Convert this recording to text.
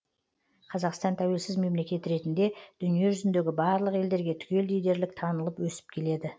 қазақстан тәуелсіз мемлекет ретінде дүние жүзіндегі барлық елдерге түгелдей дерлік танылып өсіп келеді